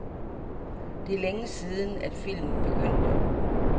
Det er længe siden, at filmen begyndte.